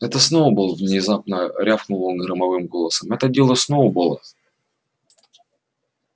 это сноуболл внезапно рявкнул он громовым голосом это дело сноуболла